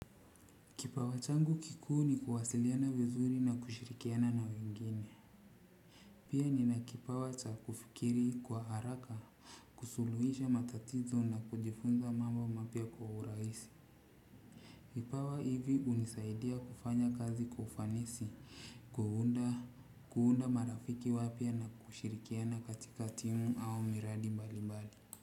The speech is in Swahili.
Kipawa changu kikuu ni kuwasiliana vizuri na kushirikiana na wengine. Pia nina kipawa cha kufikiri kwa haraka, kusuluhisha matatizo na kujifunza mambo mapya kwa urahisi. Kipawa hivi hunisaidia kufanya kazi kwa ufanisi kuunda marafiki wapya na kushirikiana katikati au miradi mbalimbali.